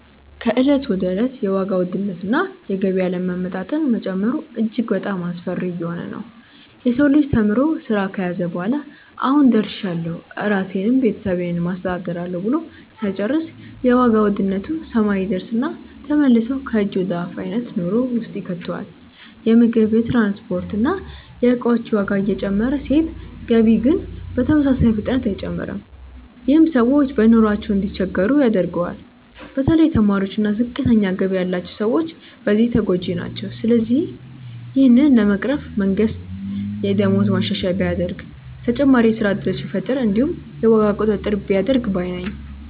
ከእለት ወደ እለት የዋጋ ውድነት እና የገቢ አለመመጣጠን መጨመሩ እጅግ በጣሞ አስፈሪ እየሆነ ነዉ። የሰው ልጅ ተምሮ ስራ ከያዘ በኋላ "አሁን ደርሻለሁ ራሴንም ቤተሰቤንም አስተዳድራለሁ" ብሎ ሳይጨርስ የዋጋ ውድነት ሰማይ ይደርስና ተመልሶ ከእጅ ወደ አፍ አይነት ኑሮ ውስጥ ይከተዋል። የምግብ፣ የትራንስፖርት እና የእቃዎች ዋጋ እየጨመረ ሲሄድ ገቢ ግን በተመሳሳይ ፍጥነት አይጨምርም። ይህም ሰዎች በኑሯቸው እንዲቸገሩ ያደርገዋል። በተለይ ተማሪዎች እና ዝቅተኛ ገቢ ያላቸው ሰዎች በዚህ ተጎጂ ናቸው። ስለዚህ ይህንን ለመቅረፍ መንግስት የደሞዝ ማሻሻያ ቢያደርግ፣ ተጨማሪ የስራ እድሎችን ቢፈጥር እንዲሁም የዋጋ ቁጥጥር ቢያደርግ ባይ ነኝ።